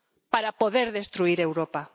Para poder destruir Europa.